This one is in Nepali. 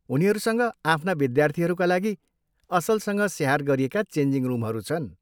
उनीहरूसँग आफ्ना विद्यार्थीहरूका लागि असलसँग स्याहार गरिएका चेन्जिङ रुमहरू छन्।